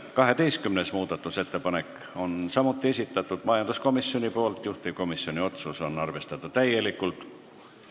12. muudatusettepanek, samuti majanduskomisjoni esitatud, juhtivkomisjoni otsus: arvestada täielikult.